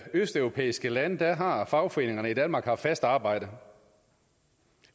østeuropæiske lande har fagforeningerne i danmark haft fast arbejde